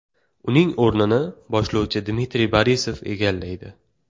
Uning o‘rnini boshlovchi Dmitriy Borisov egallaydi.